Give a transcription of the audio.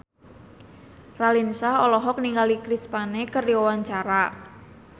Raline Shah olohok ningali Chris Pane keur diwawancara